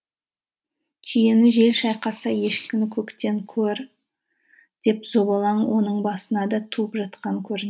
түйені жел шайқаса ешкіні көктен көр деп зобалаң оның басына да туып жатқан